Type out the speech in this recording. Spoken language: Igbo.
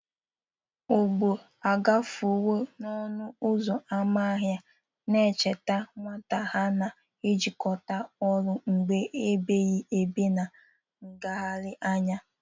Ọgbọ agafewo n'ọnụ ụzọ ámá ahia, ncheta nwata ha na-ejikọta ruo mgbe ebighị ebi na nlegharị anya.